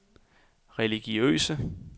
religiøse